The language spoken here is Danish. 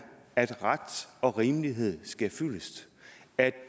at ret og rimelighed sker fyldest at